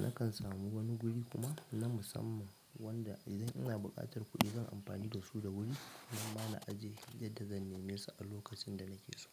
nakan samu wani guri kuma na musamman wanda idan ina buƙatar kuɗi zan amfani da su da wuri namma na aje yadda zan neme su a lokacin da nake so.